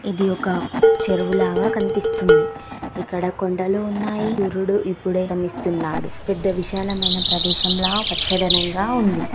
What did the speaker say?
ఇది ఒక చెరువులాగా కనిపిస్తుంది. ఇక్కడ కొండలు ఉన్నాయి. సూర్యుడు ఇప్పుడే ఉదయిస్తున్నాడు. పెద్ద విశాలమైన ప్రదేశంలా వెచ్చదనంగా ఉంది.